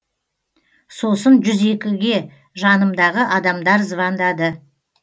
сосын жүз екіге жанымдағы адамдар звондады